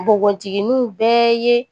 Npogotigininw bɛɛ ye